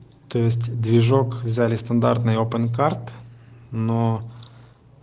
тест движок в зале стандартные опенкарт но